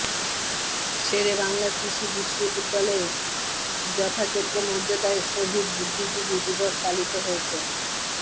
শেরেবাংলা কৃষি বিশ্ববিদ্যালয়ে যথাযোগ্য মর্যাদায় শহীদ বুদ্ধিজীবী দিবস পালিত হয়েছে